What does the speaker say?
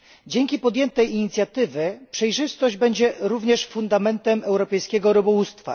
Dzięki podjętej inicjatywie przejrzystość będzie także fundamentem europejskiego rybołówstwa.